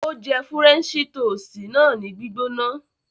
Ó jẹ Fúrẹ́ńṣí toosìtì náà ní gbígbóná.